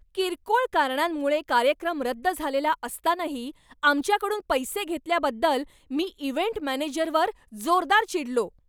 किरकोळ कारणांमुळे कार्यक्रम रद्द झालेला असतानाही आमच्याकडून पैसे घेतल्याबद्दल मी इव्हेंट मॅनेजरवर जोरदार चिडलो.